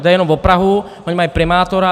Jde jenom o Prahu, oni mají primátora.